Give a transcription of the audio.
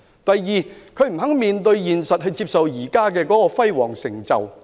第二，他們不肯面對現實，接受現時這項輝煌成就。